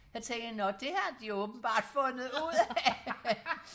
så tænkte jeg nå det har de åbenbart fundet ud af